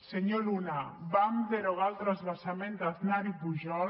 senyor luna vam derogar el transvasament d’aznar i pujol